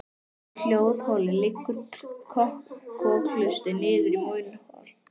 Úr hljóðholi liggur kokhlustin niður í munnhol.